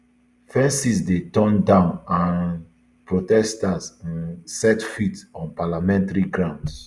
fences dey torn down and um protesters um set foot on parliamentary grounds